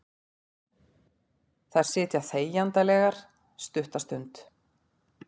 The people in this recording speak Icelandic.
Þær sitja þegjandalegar stutta stund.